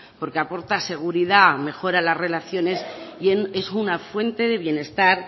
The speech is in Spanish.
porque aporta seguridad mejora las relaciones y es una fuente de bienestar